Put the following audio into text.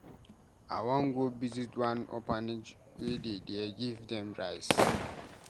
I wan go visit one orphanage wey dey there give dem rice.